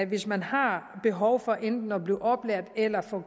hvis man har behov for enten at blive oplært eller få